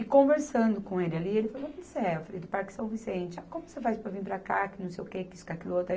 E conversando com ele ali, ele falou de onde você é, eu falei do Parque São Vicente, como você faz para vir para cá, que não sei o que, que isso, que aquilo outro.